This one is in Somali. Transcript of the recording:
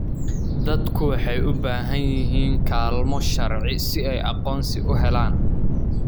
Dadku waxay u baahan yihiin kaalmo sharci si ay aqoonsi u helaan.